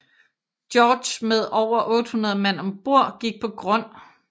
George med over 800 mand om bord gik på grund